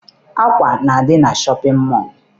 Akwa na-adị na shọpịn mọọ.